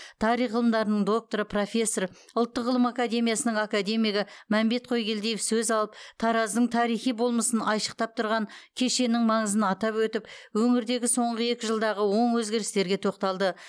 тарих ғылымдарының докторы профессор ұлттық ғылым академиясының академигі мәмбет қойгелдиев сөз алып тараздың тарихи болмысын айшықтап тұрған кешеннің маңызын атап өтіп өңірдегі соңғы екі жылдағы оң өзгерістерге тоқталды